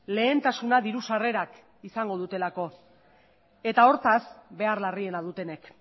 lehentasuna diru sarrerak izango dutelako eta hortaz behar larriena dutenek